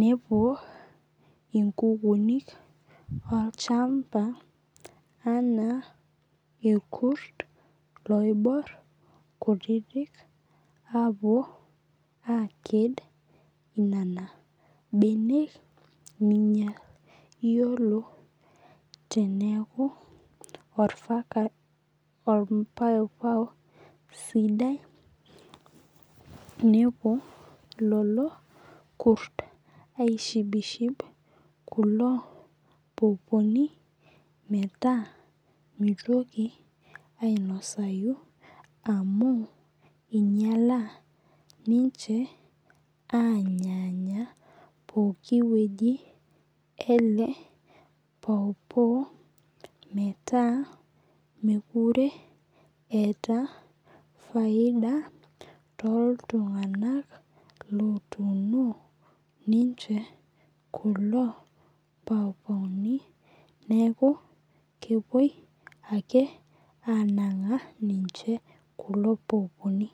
nepuo inkukunik olchamba anaa irkurt oibor kutitik apuo aked inenak benek ninyal. Iyioo teneeku or pawpaw sidai nepuo lelo kurt aishibshib kulo poponi meeta minosai amu inyala ninche anya pookin weji ele pawpaw meeta mekure etaa faida too iltung'ana lotuno ninche kulo pawpaw ni neeku kepuoi aake anang'a ninche kulo pawpaw ni.